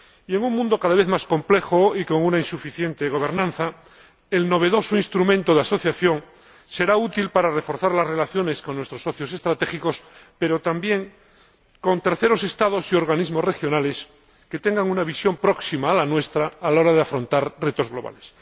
En un mundo cada vez más complejo y con una insuficiente gobernanza, el novedoso Instrumento de Asociación será útil para reforzar las relaciones con nuestros socios estratégicos, pero también con terceros Estados y organismos regionales que tengan una visión próxima a la nuestra a la hora de afrontar retos globales.